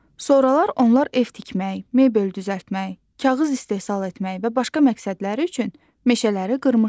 Sonralar onlar ev tikmək, mebel düzəltmək, kağız istehsal etmək və başqa məqsədləri üçün meşələri qırmışlar.